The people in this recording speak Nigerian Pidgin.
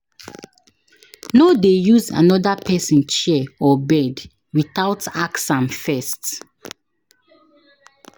No dey use another person chair or bed without ask am first.